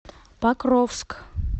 покровск